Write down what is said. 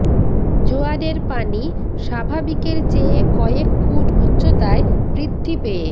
জোয়ারের পানি স্বাভাবিকের চেয়ে কয়েক ফুট উচ্চতায় বৃদ্ধি পেয়ে